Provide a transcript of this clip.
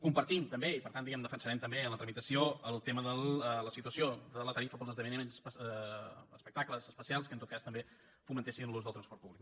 compartim també i per tant diguem ne ho defensarem també en la tramitació el tema de la situació de la tarifa per als esdeveniments o espectacles especials que en tot cas també fomentessin l’ús del transport públic